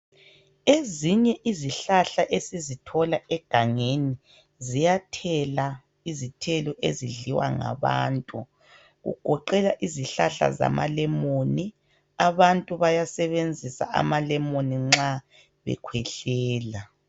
Ezinye izihlahla esizithola egangeni ziyathela izithelo ezidliwa ngabantu kugoqela izihlahla zamalemon abantu bayasebenzisa ama lemon nxa bekhwehlela.